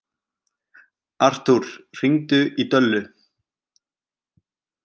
Artúr, hringdu í Döllu.